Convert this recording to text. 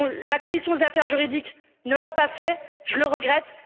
La commission des affaires juridiques ne l'a pas fait, je le regrette.